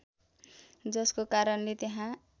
जसको कारणले त्यहाँ